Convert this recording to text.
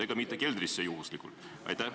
Ega neid juhuslikult keldrisse ei viida?